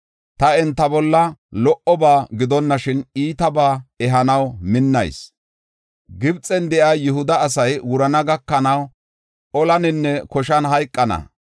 Ta enta bolla lo77oba gidonashin, iitabaa ehanaw minnayis. Gibxen de7iya Yihuda asay wurana gakanaw olaninne koshan hayqana.